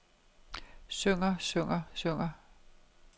synger synger synger